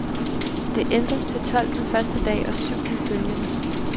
Det ændres til tolv den første dag og syv den følgende.